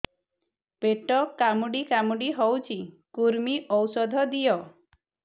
ପେଟ କାମୁଡି କାମୁଡି ହଉଚି କୂର୍ମୀ ଔଷଧ ଦିଅ